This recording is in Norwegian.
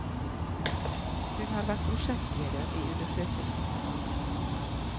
Hun har vært prosjektleder i undersøkelsen.